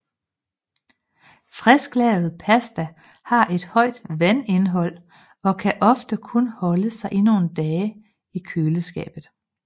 Frisklavet pasta har et højt vandindhold og kan ofte kun holde sig nogle dage i køleskab